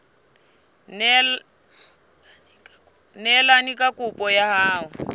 neelane ka kopo ya hao